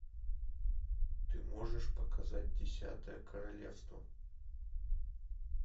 ты можешь показать десятое королевство